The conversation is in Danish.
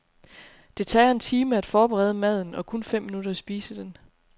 Det tager en time at forberede maden og kun fem minutter at spise den.